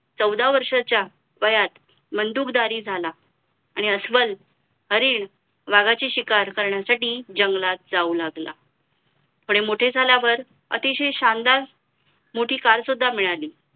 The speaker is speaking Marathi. चौदा वर्षाचा वयात मंडूकदारी झाला आणि अस्वल हरीण वाघाची शिकार करण्यासाठी जंगलात जाऊ लागला थोडे मोठे झाल्यावर अतिशय शानदार मोठी car सुद्धा मिळाली